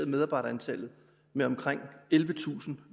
medarbejdere med omkring ellevetusind